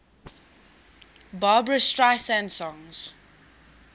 barbra streisand songs